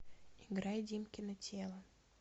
играй димкино тело